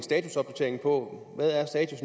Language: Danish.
på